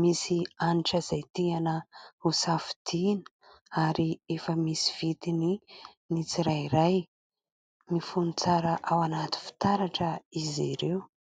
misy hanitra izay tiana ho safidiana ary efa misy vidiny ny tsirairay, mifono tsara ao anaty fitaratra izy ireo.